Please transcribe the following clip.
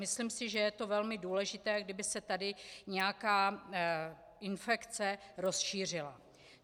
Myslím si, že je to velmi důležité, kdyby se tady nějaká infekce rozšířila.